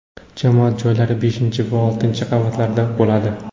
Jamoat joylari beshinchi va oltinchi qavatlarda bo‘ladi.